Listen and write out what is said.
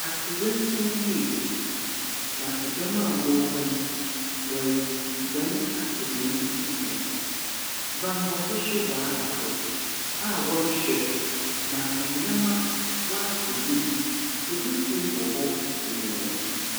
Atorenkyɛn bi asi na ɛdɔm a ɛwɔ hɔ no reguane apɛ baabi agyina banbɔfoɔ nso w'aba hɔ a wɔrehwɛ ama nneɛma akɔ yie efisuo wɔhɔ.